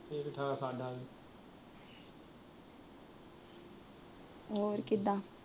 ਹੋਰ ਕਿਦਾਂ